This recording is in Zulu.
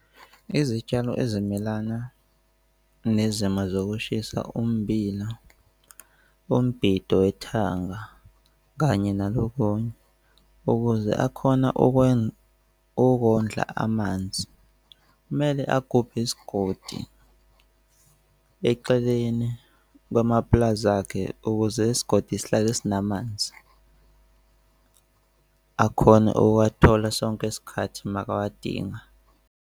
Izitshalo ezimelana nezimo zokushisa ummbila, umbhido wethanga kanye nalo kunye. Ukuze akhona okwenza, ukondla amanzi kumele agubhe isigodi eceleni kwamapulazi akhe ukuze isigodi isihlale sinamanzi akhone ukuwathola sonke isikhathi uma kawadinga.